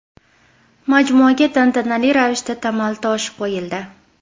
Majmuaga tantanali ravishda tamal toshi qo‘yildi.